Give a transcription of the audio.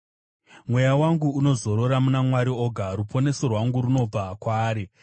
Mweya wangu unozorora muna Mwari oga; ruponeso rwangu runobva kwaari.